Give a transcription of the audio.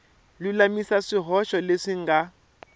lulamisa swihoxo leswi swi nga